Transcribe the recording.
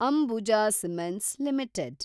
Ambuja cements limited